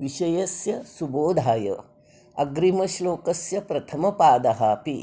विषयस्य सुबोधाय अग्रिमश्लोकस्य प्रथमपादः अपि